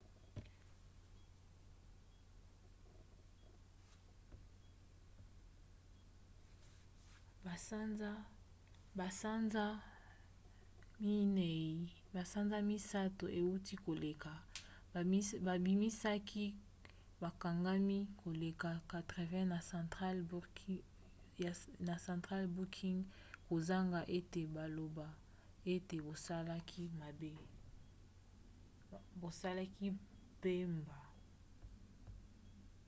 na basanza 3 euti koleka babimisaki bakangami koleka 80 na central booking kozanga ete baloba ete basalaki mbeba